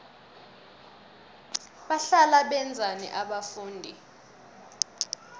bahlala benzani abafundi